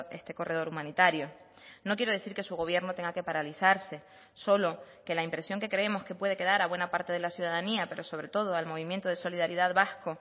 este corredor humanitario no quiero decir que su gobierno tenga que paralizarse solo que la impresión que creemos que puede quedar a buena parte de la ciudadanía pero sobre todo al movimiento de solidaridad vasco